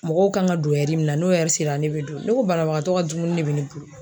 Mɔgɔw kan ka don mun na, n'o sera ne be don. Ne ko banabagatɔ ka dumuni de be ne bolo.